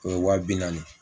O ye waa bi naani